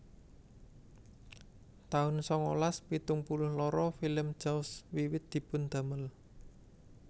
taun sangalas pitung puluh loro Film Jaws wiwit dipun damel